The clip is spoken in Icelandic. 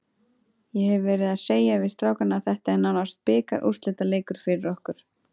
Ég hef verið að segja við strákana að þetta er nánast bikarúrslitaleikur fyrir okkur.